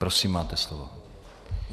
Prosím, máte slovo.